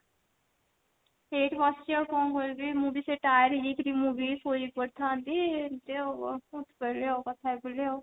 ଏଇଠି ବସିଛି ଆଉ କଣ କରିବି ମୁଁ ବି ସେଇ tired ହେଇଯାଇଛି ମୁଁ ବି ଶୋଇପଡିଥାନ୍ତି ଯେ ଉଠିପଡିଲି କଥା ହେବି ବୋଲି କି ଆଉ